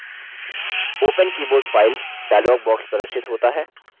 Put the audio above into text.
open keyboard file dialog box प्रदर्शित होता है